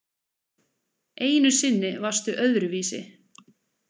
Einu sinni varstu öðruvísi.